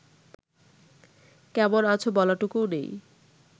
কেমন আছ বলাটুকুও নেই